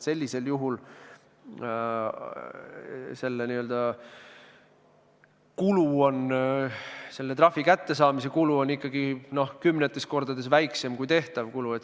Sellisel juhul on selle trahvi kättesaamise kulu ikkagi kümnetes kordades väiksem kui tehtav kulu.